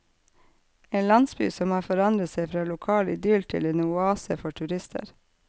En landsby som har forandret seg fra lokal idyll til en oase for turister.